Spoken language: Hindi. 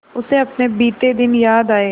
उसे अपने बीते दिन याद आए